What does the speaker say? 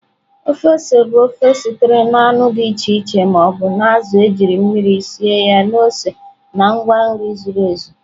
Ofe ose bụ ofe sitere na anụ dị iche iche ma ọ bụ azụ̀ ejiri mmiri sie ya na ose na ngwa nri zuru ezu.